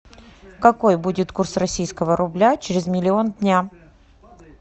какой будет курс российского рубля через миллион дня